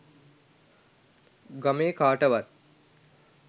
ගමේ කාටවත්